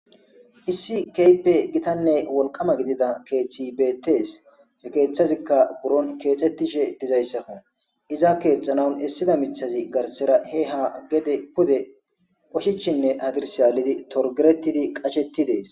Issi keype gitanne wolqama gidida keeththi bettees he keeththazikka buron keexettishe dizayssakkon iza keexxanaun issida mithazi garsera he ha gede pude oshichinne adirsyaalidi torgeretidi qashettidees.